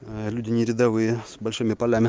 люди не рядовые с большими полями